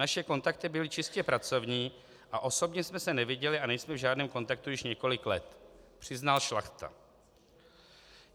Naše kontakty byly čistě pracovní a osobně jsme se neviděli a nejsme v žádném kontaktu již několik let, přiznal Šlachta."